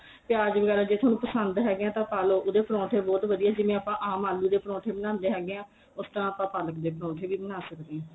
ਪਿਆਜ ਵਗੈਰਾ ਜੇ ਤੁਹਾਨੂੰ ਪਸੰਦ ਹੈਗੇ ਏ ਤਾਂ ਪਾ ਲੋ ਉਹਦੇ ਪਰੋਂਠੇ ਬਹੁਤ ਵਧੀਆ ਜਿਵੇਂ ਆਪਾਂ ਆਮ ਆਲੂ ਦੇ ਪਰੋਂਠੇ ਬਣਾਂਦੇ ਹੈਗੇ ਆ ਉਸ ਤਰ੍ਹਾਂ ਆਪਾਂ ਪਾਲਕ ਦੇ ਪਰੋਂਠੇ ਵੀ ਬਣਾ ਸਕਦੇ ਹੈਗੇ ਆ